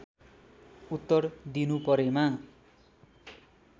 उत्तर दिनु परेमा